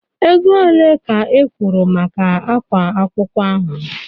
Ego ole ka ị kwụrụ maka ákwá akwụkwọ ahụ?